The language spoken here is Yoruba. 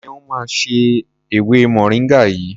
Ṣeun máa se ewé moringa yìí.